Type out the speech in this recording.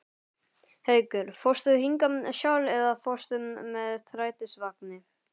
Haukur: Fórstu hingað sjálf eða fórstu með strætisvagni?